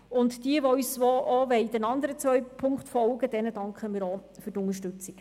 Jenen, die uns auch bei den anderen beiden Punkten folgen wollen, danken wir ebenso für die Unterstützung.